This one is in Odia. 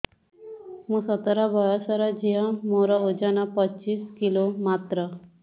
ମୁଁ ସତର ବୟସର ଝିଅ ମୋର ଓଜନ ପଚିଶି କିଲୋ ମାତ୍ର